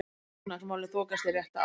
Efnahagsmálin þokast í rétta átt